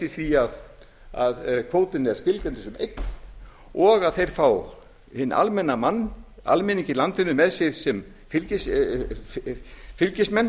því að kvótinn er skilgreindur sem eign og þeir fá hinn almenna mann almenning í landinu með sér sem fylgismenn